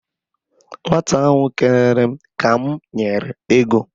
Nwata ahụ kelere m ka m nyere ego.